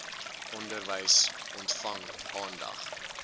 onderwys ontvang aandag